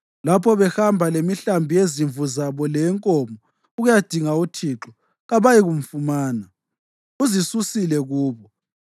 Lapho behamba lemihlambi yezimvu zabo leyenkomo ukuyadinga uThixo, kabayikumfumana; uzisusile kubo.